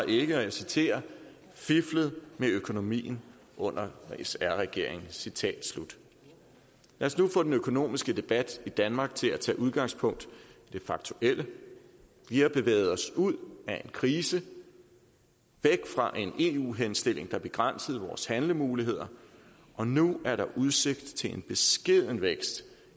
ikke og jeg citerer fiflet med økonomien under sr regeringen citat slut lad os nu få den økonomiske debat i danmark til at tage udgangspunkt i det faktuelle vi har bevæget os ud af en krise væk fra en eu henstilling der begrænsede vores handlemuligheder og nu er der udsigt til en beskeden vækst